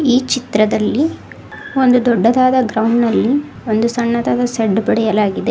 ಈ ಚಿತ್ರದಲ್ಲಿ ಒಂದು ದೊಡ್ಡದಾದ ಗ್ರೌಂಡ್ ನಲ್ಲಿ ಒಂದು ಸಣ್ಣದಾದ ಸೆಡ್ ಬೆಳೆಯಲಾಗಿದೆ.